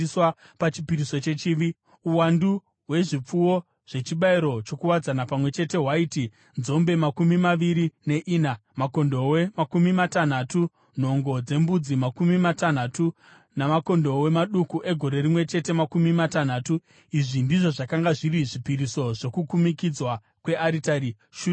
Uwandu hwezvipfuwo zvechibayiro chokuwadzana pamwe chete hwaiti nzombe makumi maviri neina, makondobwe makumi matanhatu, nhongo dzembudzi makumi matanhatu namakondobwe maduku egore rimwe chete makumi matanhatu. Izvi ndizvo zvakanga zviri zvipiriso zvokukumikidzwa kwearitari shure kwokuzodzwa kwayo.